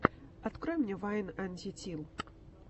открой мне вайн антитил